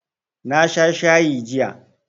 Na sha shayi jiya